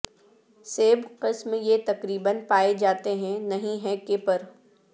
سیب قسم یہ تقریبا پائے جاتے ہیں نہیں ہے کہ پر